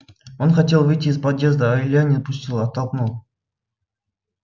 он хотел выйти из подъезда а илья не пустил оттолкнул